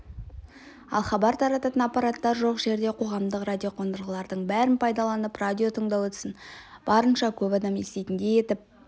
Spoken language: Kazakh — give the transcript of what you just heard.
ал хабар тарататын аппараттар жоқ жерде қоғамдық радиоқондырғылардың бәрін пайдаланып радио тыңдау ісін барынша көп адам еститіндей етіп